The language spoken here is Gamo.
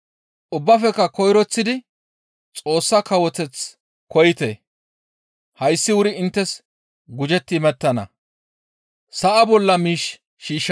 Ubbaafekka koyroththidi Xoossa kawoteth koyite; hayssi wuri inttes gujetti imettana.